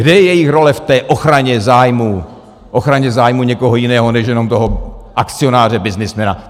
Kde je jejich role v té ochraně zájmů někoho jiného než jenom toho akcionáře, byznysmena?